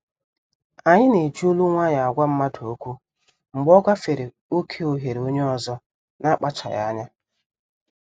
Anyi na-eji olu nwayọ agwa mmadụ okwu mgbe ọ gafere oké oghere onye ọzọ n'akpachaghi anya.